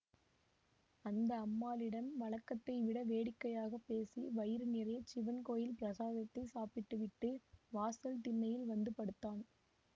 அந்த அம்மாளிடம் வழக்கத்தை விட வேடிக்கையாக பேசி வயிறு நிறைய சிவன் கோயில் பிரசாதத்தைச் சாப்பிட்டு விட்டு வாசல் திண்ணையில் வந்து படுத்தான்